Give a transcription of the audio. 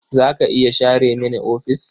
Za ki iya share mini ofis?